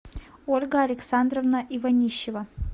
ольга александровна иванищева